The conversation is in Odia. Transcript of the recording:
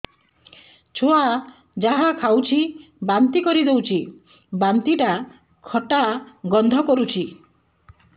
ଛୁଆ ଯାହା ଖାଉଛି ବାନ୍ତି କରିଦଉଛି ବାନ୍ତି ଟା ଖଟା ଗନ୍ଧ କରୁଛି